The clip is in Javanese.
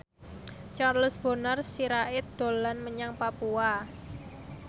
Charles Bonar Sirait dolan menyang Papua